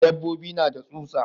Dabbobi na da tsutsa.